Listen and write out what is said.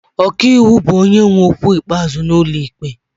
Ọka iwu bụ onye nwe okwu ikpeazụ n'ụlọ ikpe.